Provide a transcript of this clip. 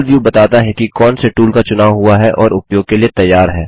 tool view बताता है कि कौन से टूल का चुनाव हुआ है और उपयोग के लिए तैयार है